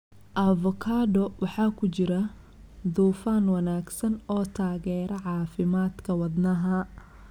Avocado waxaa ku jira dufan wanaagsan oo taageera caafimaadka wadnaha.